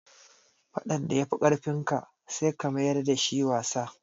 Faɗan da ya fi ƙarfin ka, sai ka mayar da shi wasa.